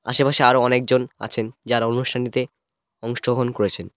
আশেপাশে আরও অনেকজন আছেন যারা অনুষ্ঠানটিতে অংশগ্রহণ করেছেন।